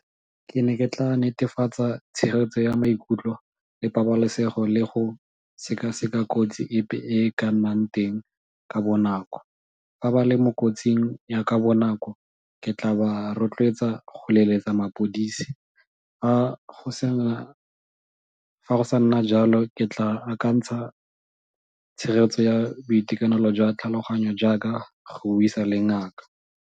Ke ne ke tla netefatsa tshegetso ya maikutlo le pabalesego le go seka-seka kotsi epe e e ka nnang teng ka bonako. Fa ba le mo kotsing ya ka bonako, ke tla ba rotloetsa go leletsa mapodisi. Fa go sa nna jalo ke tla akantsha tshegetso ya boitekanelo jwa tlhaloganyo jaaka go le ngaka.